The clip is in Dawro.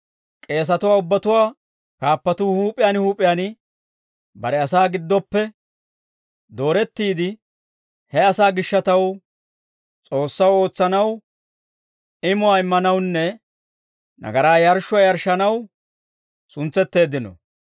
K'eesatuwaa ubbatuwaa kaappatuu huup'iyaan huup'iyaan bare asaa giddoppe doorettiide, he asaa gishshataw S'oossaw ootsanaw, imuwaa immanawunne nagaraa yarshshuwaa yarshshanaw suntsetteeddino.